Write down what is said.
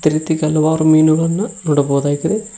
ಅದೇ ರೀತಿ ಕೆಲವಾರು ಮೀನುಗಳನ್ನ ನೋಡಬಹುದಾಗಿದೆ.